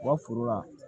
U ka foro la